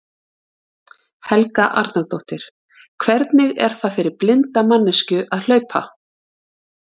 Helga Arnardóttir: Hvernig er það fyrir blinda manneskju að hlaupa?